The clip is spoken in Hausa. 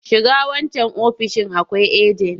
Shiga wancan ofoishin akwai ajen!